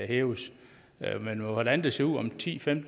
hæves men hvordan det ser ud om ti til